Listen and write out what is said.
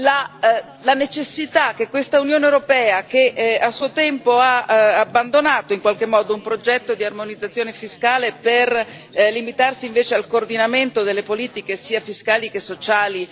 la necessità che questa Unione europea, che a suo tempo ha abbandonato in qualche modo un progetto di armonizzazione fiscale, per limitarsi invece al coordinamento delle politiche sia fiscali che sociali,